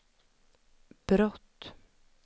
brott